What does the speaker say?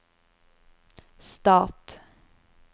stat